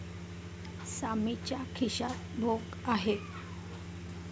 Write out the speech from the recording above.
सामीच्या खिश्यात भोक आहे.